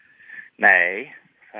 nei